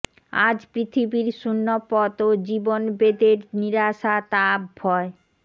আজ পৃথিবীর শূণ্য পথ ও জীবনবেদের নিরাশা তাপ ভয়